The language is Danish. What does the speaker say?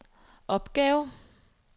opgave